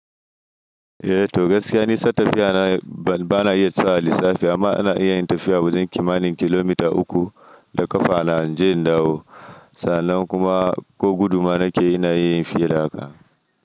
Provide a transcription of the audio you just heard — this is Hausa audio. Eh toh gaskiya nisan tafiya na bana iya tsayawa in yi lissafi amma ina iya yin tafiya wajen kimanin kilomita uku da ƙafa na in je in dawo sannan kuma ko gudu ma na ke yi ina iya yin fiye da haka.